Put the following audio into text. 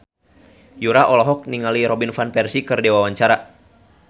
Yura olohok ningali Robin Van Persie keur diwawancara